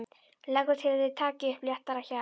Leggur til að þeir taki upp léttara hjal.